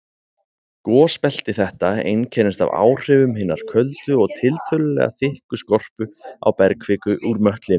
Gosbelti þetta einkennist af áhrifum hinnar köldu og tiltölulega þykku skorpu á bergkviku úr möttlinum.